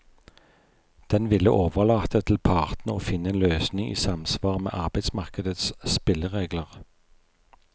Den ville overlate til partene å finne en løsning i samsvar med arbeidsmarkedets spilleregler.